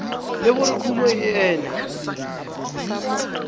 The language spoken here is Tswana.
le gore kumo e ne